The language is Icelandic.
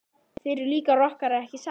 Þið eruð líka rokkarar ekki satt?